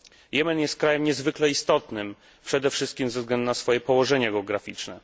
Jemen jest krajem niezwykle istotnym, przede wszystkim ze względu na swoje położenie geograficzne.